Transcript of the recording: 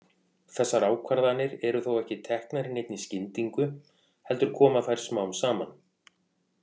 Þessar ákvarðanir eru þó ekki teknar í neinni skyndingu, heldur koma þær smám saman.